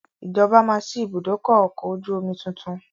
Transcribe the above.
Ìjọba máa sì ibùdókọ̀ ọkọ̀ ojú omi tuntun